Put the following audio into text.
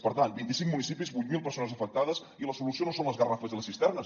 per tant vint i cinc municipis vuit mil persones afectades i la solució no són les garrafes i les cisternes